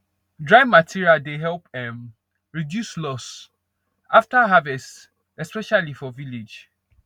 dry material dey help um reduce loss after harvest especially for village